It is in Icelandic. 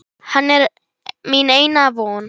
Hann er mín eina von.